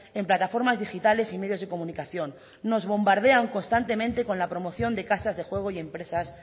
en plataformas digitales y medios de comunicación nos bombardean constantemente con la promoción de las casas de juego y empresas